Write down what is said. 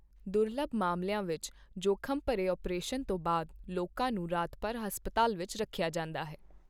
ਦੁਰਲੱਭ ਮਾਮਲਿਆਂ ਵਿੱਚ, ਜੋਖਮ ਭਰੇ ਅਪ੍ਰੇਸ਼ਨ ਤੋਂ ਬਾਅਦ ਲੋਕਾਂ ਨੂੰ ਰਾਤ ਭਰ ਹਸਪਤਾਲ ਵਿੱਚ ਰੱਖਿਆ ਜਾਂਦਾ ਹੈ।